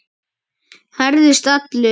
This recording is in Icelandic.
Herðist allur.